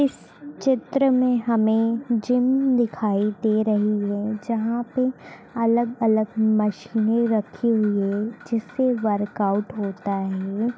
इस चित्र मे हमे जिम दिखाई दे रही है जहां पे अलग अलग मशीने रखी हुई है| जिससे वर्कआउट होता है।